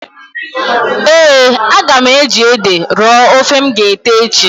Eeǃ A ga m eji ede rọọ ofe m g'ete echi.